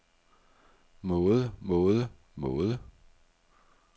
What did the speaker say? måde måde måde